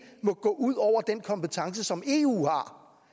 må gå ud over den kompetence som eu